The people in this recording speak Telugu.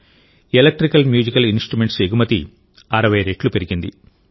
ఎలక్ట్రికల్ మ్యూజికల్ ఇన్స్ట్రుమెంట్స్ ఎగుమతి 60 రెట్లు పెరిగింది